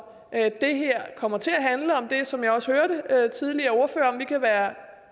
at det her kommer til at handle om det som jeg også hørte tidligere ordførere tale om vi kan være